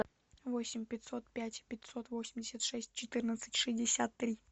восемь пятьсот пять пятьсот восемьдесят шесть четырнадцать шестьдесят три